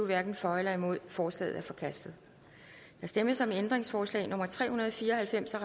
hverken for eller imod forslaget er forkastet der stemmes om ændringsforslag nummer tre hundrede og fire og halvfems af